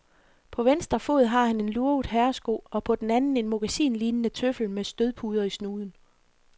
På venstre fod har han en lurvet herresko og på den anden en mokkasin-lignende tøffel med stødpuder i snuden.